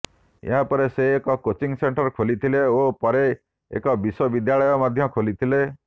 ଏହାପରେ ସେ ଏକ କୋଚିଂ ସେଣ୍ଟର ଖୋଲିଥିଲେ ଓ ପରେ ଏକ ବିଶ୍ୱବିଦ୍ୟାଳୟ ମଧ୍ୟ ଖୋଲିଥିଲେ